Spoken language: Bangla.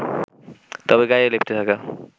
তবে গায়ে লেপ্টে থাকা